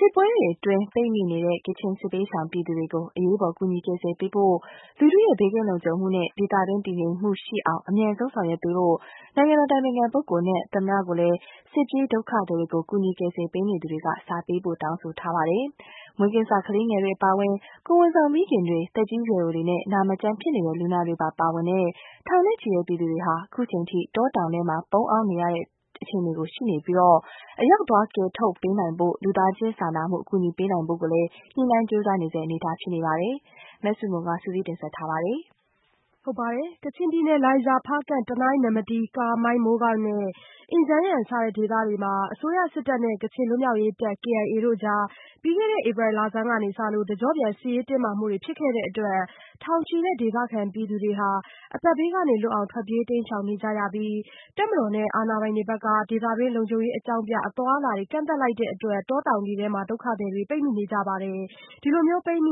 စစ်ပွဲတွေအတွင်း ပိတ်မိနေတဲ့ ကချင်စစ်ဘေးရှောင်ပြည်သူတွေကို အရေးပေါ် ကူညီကယ်ဆယ်ပေးဖို့ လူထုရဲ့ဘေးကင်းလုံခြုံမှုနဲ့ ဒေသတွင်း တည်ငြိမ်မှုရှိအောင် အမြန်ဆုံးဆောင်ရွက်ပေးဖို့ နိုင်ငံတော်အတိုင်ပင်ခံပုဂ္ဂိုလ်နဲ့ နိုင်ငံတော်သမ္မတကို စစ်ပြေးဒုက္ခသည်တွေကို ကူညီ ကယ်ဆယ်ပေးနေသူတွေက စာပေးပို့တောင်းဆိုထားပါတယ်။ မွေးကင်းစကလေးငယ်တွေအပါအဝင် ကိုယ်ဝန်ဆောင်မိခင်တွေ၊ သက်ကြီး ရွယ်အိုတွေနဲ့ နာမကျမ်းဖြစ်နေတဲ့လူနာတွေပါ ပါဝင်တဲ့ ထောင်ချီတဲ့ပြည်သူတွေဟာ အခုအချိန်အထိ တောတောင်ထဲ ပုန်းအောင်းနေရဆဲ အခြေအနေဖြစ်ပြီး အရောက်သွားကယ်ထုတ်ပေးနိုင်ဖို့ လူသားချင်းစာနာမှု အကူညီပေးနိုင်ဖို့ကိုလည်း ညှိနှိုင်းကြိုးစားနေရဆဲ အနေအထား ဖြစ်ပါတယ်။ မဆုမွန် စုစည်းတင်ပြပေးထားပါတယ်။ ကချင်ပြည်နယ် လိုင်ဇာ၊ ဖားကန့်၊ တနိုင်း၊ နမ္မတီး၊ ကာမိုင်း မိုးကောင်းနဲ့ အင်ဂျန်းယန် စတဲ့ဒေသတွေမှာ အစိုးရစစ်တပ်နဲ့ ကချင်လွတ်မြောက်ရေးတပ် KIA တို့ကြား ပြီးခဲ့တဲ့ ဧပြီလဆန်းပိုင်းကစလို့ တကျော့ပြန် စစ်ရေးတင်းမာမှုတွေဖြစ်ခဲ့တဲ့အတွက် ထောင်ချီတဲ့ ဒေသခံပြည်သူတွေဟာ ု အသက်ဘေးကလွတ်အောင် ထွက်ပြေးတိမ်းရှောင်နေရပြီး ဒေသတွင်းလုံခြုံရေး အကြောင်းပြ အသွားအလာတွေ ကန့်သတ်လိုက်တဲ့အတွက် တောတောင်တွေထဲ ပိတ်မိနေကြပါတယ်။ ပိတ်မိ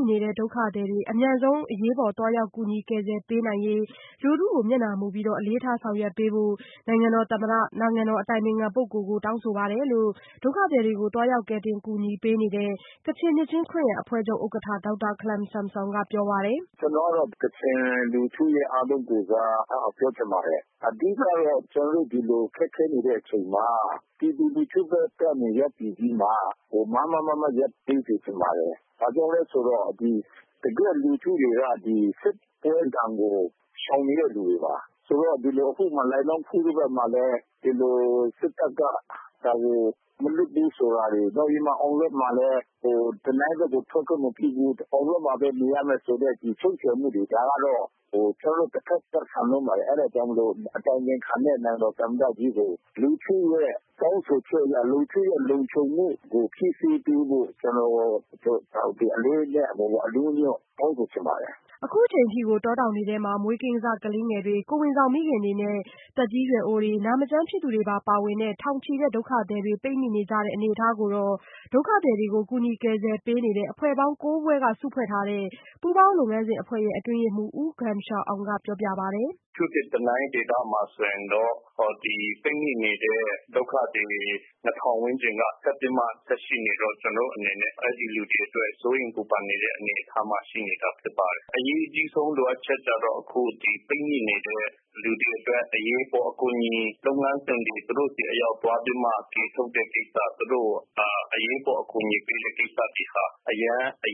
နေတဲ့ ဒုက္ခသည်တွေ အမြန်ဆုံး အရေးပေါ်သွားရောက် ကူညီကယ်ဆယ်ပေးနိုင်ရေး လူထုကို မျက်နှာမူပြီး အလေးထား ဆောင်ရွက်ပေးဖို့ နိုင်ငံတော်သမ္မတ၊ နိုင်ငံတော်အတိုင်ပင်ခံပုဂ္ဂိုလ်ဒေါ်အောင်ဆန်းစုကြည်ကိုလည်း တောင်းဆိုပါတယ်လို့ ဒုက္ခသည်တွေကို သွားရောက် ကယ်တင်ကူညီပေးနေတဲ့ ကချင်နှစ်ခြင်းခရစ်ယာန်အဖွဲ့ချုပ် ဥက္ကဋ္ဌ ဒေါက်တာခလမ်ဆမ်ဆွမ်က ပြောပါတယ်။ "ကျနော်ကတော့ ကချင်လူထုအားလုံးကိုယ်စား ပြောချင်ပါတယ်။ အဓိကတော့ ကျနေ်ာတို့ ဒီလိုခက်ခဲနေတဲ့အချိန်မှာ ပြည်သူလူထုဘက်ကမားမားမတ်မတ်ရပ်တည်ပေး စေချင်ပါတယ်။ ဘာကြောင့်လဲဆိုတော့ တကယ့်လူထုတွေက စစ်ပွဲဒဏ်ကို ရှောင်နေတဲ့လူတွေပါ။ လိုင်နောင်ခူးဘက်မှာလည်း ဒီလိုစစ်တပ်က မလွတ်ဘူးဆိုတာတွေ။ နောက်ပြီးတော့ အောင်လောဒ့်မှာလည်း တနိုင်းဘက်ကို ထွက်ခွင့်မပြုဘူး အောင်လောဒ့်မှာပဲ နေရမယ်ဆိုတဲ့ ချုပ်ချယ်မှုတွေ ဒါတွေက တဖက်သတ်ဆန်လွန်းပါတယ်။ အဲဒါကြောင့်မို့လို့ အတိုင်ပင်ခံနဲ့ နိုင်ငံတော်သမ္မတကြီးကို လူထုတောင်းဆိုချက်အရ၊ လူထုလုံခြုံမှုကို ဖြည့်ဆည်းပေးဖို့ ကျနော်တို့ ဒါကို အလေးအနက်တောင်းဆိုချင်ပါတယ်။" အခုအချိန်အထိကို တောတောင်တွေထဲမှာ မွေးကင်းစကလေးငယ်တွေ၊ ကိုယ်ဝန်ဆောင်မိခင်တွေနဲ့ သက်ကြီးရွယ်အိုတွေ နာမကျန်းဖြစ်သူတွေပါ ပါဝင်တဲ့ထောင်ချီတဲ့ဒုက္ခသည်တွေ ပိတ်မိနေကြဆဲအနေအထားကိုတော့ ဒုက္ခသည်တွေကို ကူညီကယ်ဆယ်ပေးနေတဲ့အဖွဲ့ပေါင်း ဖွဲ့ စုဖွဲ့ထားတဲ့ ပူးပေါင်းလုပ်ငန်းစဉ်အဖွဲ့ရဲ့အတွင်းရေးမှူး U Gum Sha Awng က ပြောပါတယ်။ "အထူးသဖြင့် တနိုင်းဒေသမှာဆိုရင် ဒီပိတ်မိနေတဲ့ ဒုက္ခသည် ၂၀၀၀ ဝန်းကျင်က ဆက်ပြီးမှ ဆက်ရှိနေတော့ ကျနော်တို့အနေနဲ့ အဲဒီလူတွေအတွက် စိုးရိမ်ပူပန်ရတဲ့အနေအထားမှာရှိနေပါတယ်။ အရေးကြီးဆုံးလိုအပ်ချက်ကတော့ ဒီ ပိတ်မိနေတဲ့လူတွေအတွက် အရေးပေါ်အကူအညီလုပ်ပေးဖို့ သူတို့ဆီသွားပြီးမှ ကယ်ထုတ်ဖို့ကိစ္စ ၊ အရေးပေါ်အကူအညီပေးမယ့်ကိစ္စအ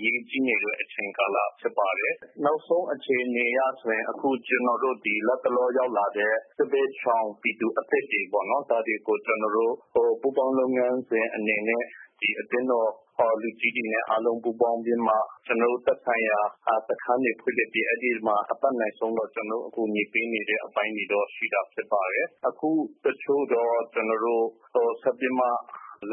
ရေးကြီးနေတဲ့ အချိန်ကာလတွေဖြစ်ပါတယ်။ နောက်ဆုံးအခြေအနေအရဆိုရင် ကျနေ်ာတို့ဒီလက်တလောအသစ်ရောက်လာတဲ့ သူတွေကိုပေါ့နော် ကျနော်တို့ ပူးပေါင်းလုပ်ငန်းစဉ် အနေနဲ့ အသင်းတော်လူကြီးတွေနဲ့ ပူးပေါင်းပြီးတော့ ကျနော်တို့ သက်ဆိုင်ရာ စခန်းတွေဖွင့်လစ်ပြီးတော့ အတက်နိုင်ဆုံးတော့ ကျနော်တို့ အကူအညီပေးနေတဲ့အပိုင်းတွေတော့ ရှိတာဖြစ်ပါတယ်။ အခုတချို့တော့ ဆက်ပြီးမှ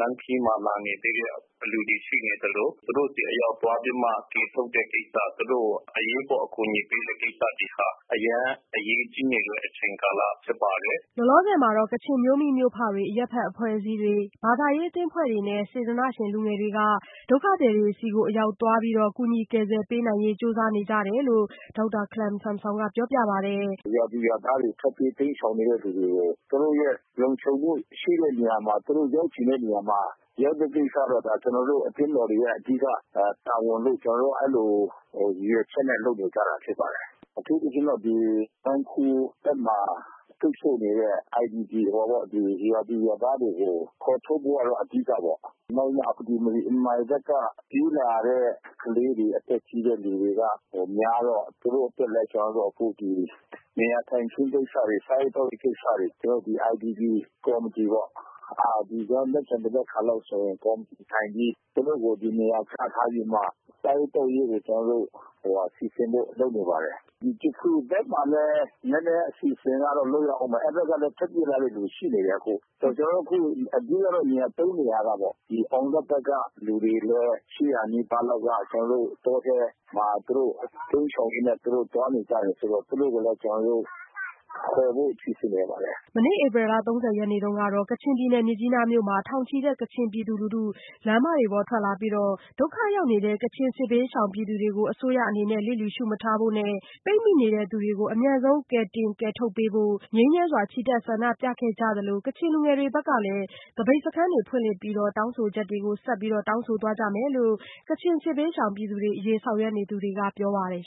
လမ်းခရီးမှာလာနေသေးတဲ့ လူတွေရှိနေသလို သူတို့ဆီအရောက်သွားပြီးမှ ကယ်ထုတ်တဲ့ ကိစ္စ သူတို့ကို အရေးပေါ်အကူအညီပေးတဲ့ကိစ္စတွေဟာ အရမ်းအရေးကြီးနေတဲ့ အချိန်ကာလတွေ ဖြစ်ပါတယ်။" လောလောဆယ်မှာတော့ ကချင်မြို့မိမြို့ဖတွေ အရပ်ဖက်အဖွဲ့အစည်းတွေနဲ့ ဘာသာရေးအသင်းအဖွဲ့တွေနဲ့ စေတနာ့ရှင်လူငယ်တွေကပဲ ဒုက္ခသည်တွေ အရောက်သွားပြီး ကူညီကယ်ဆယ်ပေးနေရတယ်လို့လည်း ဒေါက်တာခလမ်ဆမ်ဆွမ်ကပြောပါတယ်။ "ရွာသူရွာသားတွေ ထွက်ပြေးတိမ်းရှောင်နေတဲ့သူတွေကို သူတို့လုံခြုံမှုရှိတဲ့နေရာမှာ သူတို့ရောက်နေတဲ့နေရာတွေမှာ ရောက်ဖို့ကိစ္စကတော့ ကျနော်တို့အသင်းတော်ရဲ့အဓိက တာဝန်လို့ အဲလိုရည်ရွယ်ချက်နဲ့ လုပ်နေကြတာဖြစ်ပါတယ်။ အထူးသဖြင့်ကတော့ လိုင်နောင်းခူးဘက်မှာ ပိတ်ဆို့နေတဲ့ ရွာသူရွာသားတွေကို ခေါ်ထုတ်ဖို့အဓိကပေါ့ နောက်မှ အင်မိုင်ဘက်က ပြေးလာတဲ့ ကလေးတွေ အသက်ကြီးတဲ့လူတွေအတွက်လည်း ကျနော်တို့ နေရာထိုင်ခင်းကိစ္စတွေ စားသောက်ရေးကိစ္စတွေ ကျနော်တို့ IDP ကော်မတီပေါ့ ကျနော်တို့ မနက်ဖြန် သဘက်ခါလောက်ဆိုရင် ကော်မတီထိုင်ပြီး စားသောက်ရေးတွေကို စီစဉ်ဖို့လုပ်နေပါတယ်။ ဂျခရူဘက်ဘမှာလည်း နည်းနည်းအစီအစဉ်တော့ လုပ်ရဦးမယ်။ အဲဒီဘက်ကလည်း ထွက်ပြေးလာတဲ့လူတွေ ရှိနေတယ်အခု ။ ဆိုတော့ အဓိကတော့ နေရာ ၃ နေရာကပေါ့နော် အောင်လောဒ့် ကလူတွေလည်း ၈၀၀ နီးပါးလောက်ပေါ့ ၊ တောထဲမှာ တိမ်းရှောင်ရင်းနဲ့ သွားနေကြတယ်ဆိုတော့ သူတို့ကိုလည်း ကျနော်တို့ ခေါ်ဖို့စီစဉ်နေပါတယ်။" မနေ့ဧပြီလ ၃၀ရက်နေ့ က ကချင်ပြည်နယ် မြစ်ကြီးနားမြို့မှာ ထောင်ချီတဲ့ ကချင်ပြည်သူလူထုက လမ်းမတွေပေါ်ထွက်ပြီး ဒုက္ခရောက်နေတဲ့ ကချင်စစ်ဘေးရှောင်ပြည်သူတွေကို အစိုးရအနေနဲ့ လျစ်လျူရှုမထားဖို့နဲ့ ပိတ်မိနေသူတွေကို အမြန်ဆုံးကယ်ထုတ်ပေးဖို့ ငြိမ်းချမ်းစွာ ချီတက်ဆန္ဒပြခဲ့ကြသလို ကချင်လူငယ်တွေဘက်ကလည်း သပိတ်စခန်းဖွင့်လှစ်ပြီး တောင်းဆိုချက်တွေ ကို ဆက်လက် တောင်းဆိုသွားကြမယ်လို့လည်း ကချင်စစ်ဘေးရှောင်ပြည်သူတွေအရေးဆောင်ရွက်နေသူတွေကပြောပါတယ်